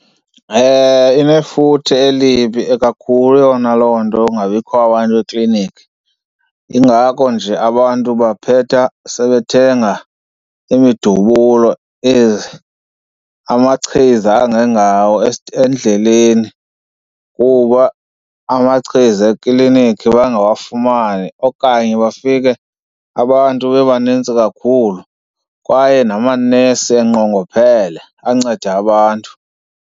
Inefuthe elibi kakhulu yona loo nto yokungabikho kwabantu ekliniki. Yingako nje abantu baphetha sebethenga imidubulo amachiza angengawo endleleni kuba amachiza ekliniki bangawafumani okanye bafike abantu bebanintsi kakhulu kwaye namanesi enqongophele anceda abantu.